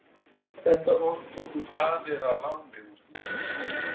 Þetta orð tóku Danir að láni úr þýsku.